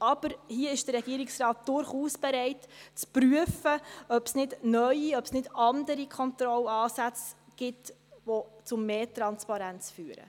Aber hier ist der Regierungsrat durchaus bereit zu prüfen, ob es nicht neue, andere Kontrollansätze gibt, die zu mehr Transparenz führen.